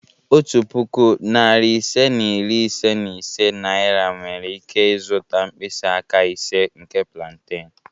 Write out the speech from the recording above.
Otu puku, narị ise na iri ise na ise naira nwere ike zụta mkpịsị aka ise nke plantain.